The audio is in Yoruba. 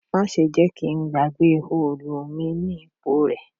Má ṣe jẹ́ kí n gbàgbé òòlù mi ní ipò rẹ